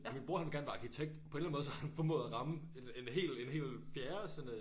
Min bror han vil gerne være arkitekt på en eller anden måde så har han formået at ramme en hel en hel fjerde sådan øh